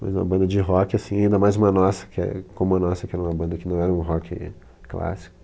Mas uma banda de rock, ainda mais uma nossa, como a nossa que era uma banda que não era um rock clássico,